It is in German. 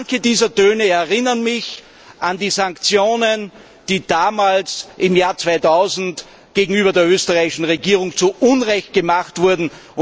Manche dieser Töne erinnern mich an die Sanktionen, die damals im Jahr 2000 gegenüber der österreichischen Regierung zu Unrecht verhängt wurden.